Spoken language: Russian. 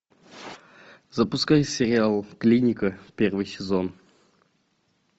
запускай сериал клиника первый сезон